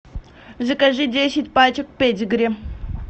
закажи десять пачек педигри